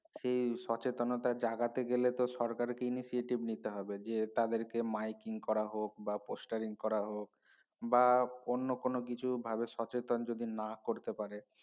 সে সচেতনতা জাগাতে গেলেতো সরকারকে initiative নিতে হবে যে তাদেরকে miking করা হক বা posturing করা হক বা অন্য কোন কিছু ভালো সচেতন যদি না করতে পারে